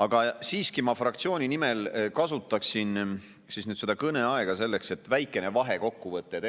Aga fraktsiooni nimel rääkides ma kasutaksin seda kõneaega selleks, et teha väikene vahekokkuvõte,